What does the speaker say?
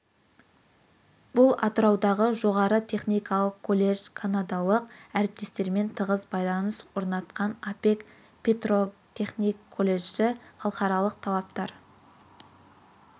бұл атыраудағы жоғары техникалық колледж қанадалық әріптестерімен тығыз байланыс орнатқан апек петротехник колледжі халықаралық талаптар